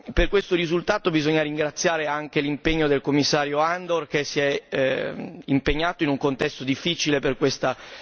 Per questo risultato bisogna ringraziare anche l'impegno del Commissario Andor, che si è impegnato in un contesto difficile per questa